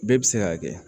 Bɛɛ bɛ se k'a kɛ